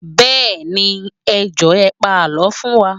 Bẹẹni, ẹ Jọ̀ọ́ ẹ pa àlọ́ fún wa